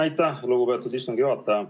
Aitäh, lugupeetud istungi juhataja!